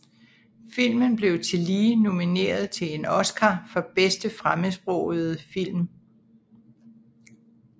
Filmen blev tillige nomineret til en Oscar for bedste fremmedsprogede film